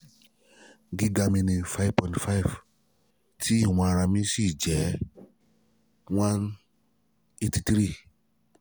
giga mi ni five point five ti ìwọ̀n ara mi sì jẹ́ one eighty three